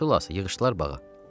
Xülasə, yığışdılar bağa.